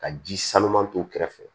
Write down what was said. Ka ji sanuman k'u kɛrɛfɛ